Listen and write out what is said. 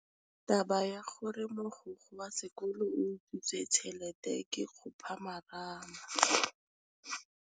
Taba ya gore mogokgo wa sekolo o utswitse tšhelete ke khupamarama.